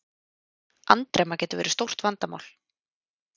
Andremma getur verið stórt vandamál.